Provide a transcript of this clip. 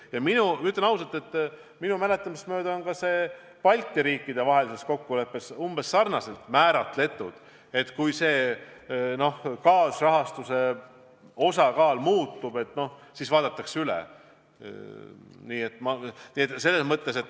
Ja ma ütlen ausalt, et minu mäletamist mööda on ka see Balti riikide vahelises kokkuleppes umbes sarnaselt määratletud: kui kaasrahastuse osakaal muutub, siis vaadatakse projekt üle.